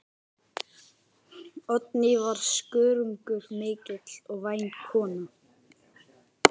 Oddný var skörungur mikill og væn kona.